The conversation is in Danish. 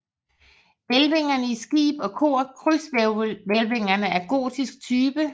Hvælvingerne i skib og kor krydshvælvinger af gotisk type